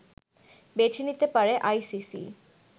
বেছে নিতে পারে আইসিসি